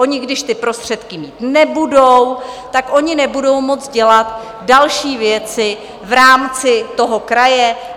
Oni když ty prostředky mít nebudou, tak oni nebudou moct dělat další věci v rámci toho kraje.